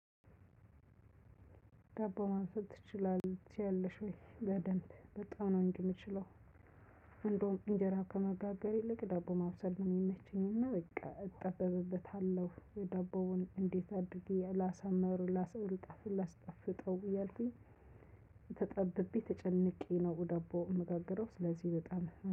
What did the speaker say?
ዳቦ ማብሰል ትችላለህ ትችያለሽ ወይ በደንብ በጣም ነው እምችለው። እንደውም እንጀራ ከመጋገር ይልቅ ዳቦ ማብሰል ነው የሚመቸኝ። እና በቃ እጠበብበታለሁ ደቦውን እንዴት አድርጌ ላሳምር ላስ ላስጣፍጠው እያልኩኝ። ተጠብቤ ተጨንቄ ነው ዳቦ እማጋግረው ስለዚህ በጣም